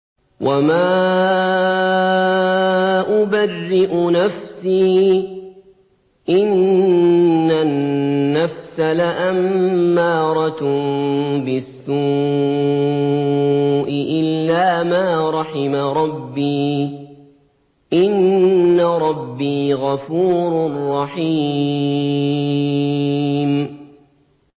۞ وَمَا أُبَرِّئُ نَفْسِي ۚ إِنَّ النَّفْسَ لَأَمَّارَةٌ بِالسُّوءِ إِلَّا مَا رَحِمَ رَبِّي ۚ إِنَّ رَبِّي غَفُورٌ رَّحِيمٌ